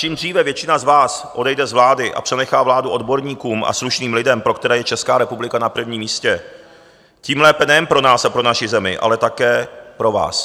Čím dříve většina z vás odejde z vlády a přenechá vládu odborníkům a slušným lidem, pro které je Česká republika na prvním místě, tím lépe nejen pro nás a pro naši zemi, ale také pro vás.